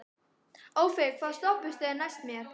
Ófeigur, hvaða stoppistöð er næst mér?